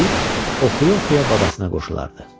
Deyib oxuya-oxuya babasına qoşulardı.